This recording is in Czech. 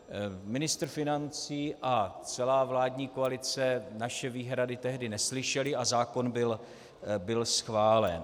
Ministr financí a celá vládní koalice naše výhrady tehdy neslyšeli a zákon byl schválen.